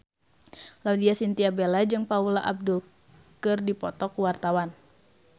Laudya Chintya Bella jeung Paula Abdul keur dipoto ku wartawan